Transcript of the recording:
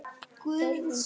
Þörfin knýr.